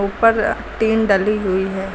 ऊपर टीन डली हुई है।